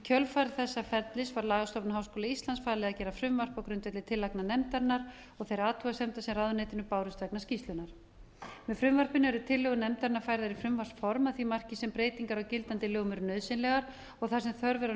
kjölfar þessa fellur var lagastofnun háskóla íslands falið að gera frumvarp á grundvelli tillagna nefndarinnar og þeirra athugasemda sem ráðuneytinu bárust vegna skýrslunnar með frumvarpinu eru tillögur nefndarinnar færðar í frumvarpsform að því marki sem breytingar á gildandi lögum eru nauðsynlegar og þar sem þörf er á